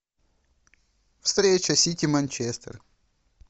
встреча сити манчестер